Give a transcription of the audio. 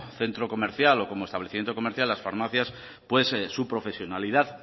centro comercial o como establecimiento comercial las farmacias pues su profesionalidad